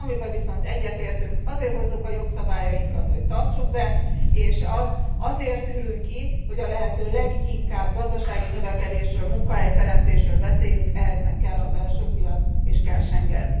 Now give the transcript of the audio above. Amiben viszont egyetértünk azért hozzuk a jogszabályainkat, hogy tartsuk be, és azért ülünk itt, hogy a lehető leginkább gazdasági növekedésről, munkahelyteremtésről beszéljünk, ehhez meg kell a belső piac, és kell Schengen.